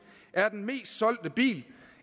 er den mest solgte bil